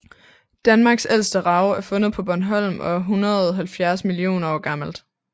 Danmarks ældste rav er fundet på Bornholm og er 170 millioner år gammelt